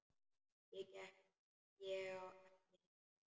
Ég á ekki heima hér.